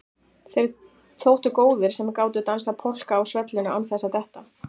Þeir þóttu góðir sem gátu dansað polka á svellinu án þess að detta.